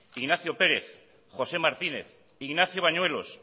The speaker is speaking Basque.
ignacio pérez josé martínez ignacio bañuelos